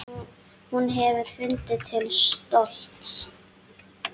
Hún hefði fundið til stolts.